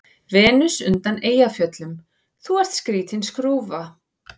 Venus undan Eyjafjöllum:- Þú ert skrýtin skrúfa.